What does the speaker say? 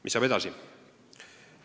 Mis saab edasi?